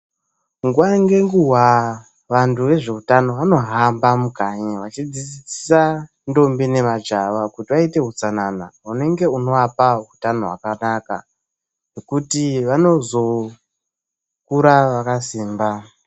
Nguwa ngenguwa vantu vezveutano vanohamba mukanyi vachidzidzisa ndombi nemajaha kuti vaite utsanana unenge unozovapa utano hwakanaka nokuti vanozokura vakasimba.